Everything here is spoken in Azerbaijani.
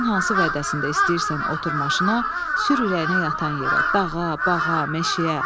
Günün hansı vədəsində istəyirsən otur maşına, sür ürəyinə yatan yerə, dağa, bağa, meşəyə.